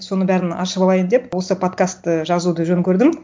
соның бәрін ашып алайын деп осы подкастты жазуды жөн көрдім